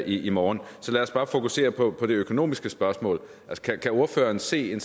i morgen så lad os bare fokusere på det økonomiske spørgsmål kan ordføreren se